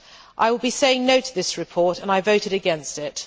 I will be saying no' to this report and I voted against it.